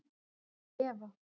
Án efa.